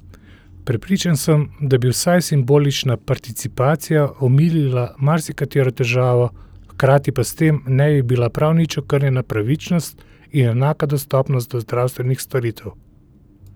Prepričan sem, da bi vsaj simbolična participacija omilila marsikatero težavo, hkrati pa s tem ne bi bila prav nič okrnjena pravičnost in enaka dostopnost do zdravstvenih storitev.